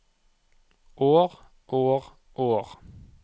år år år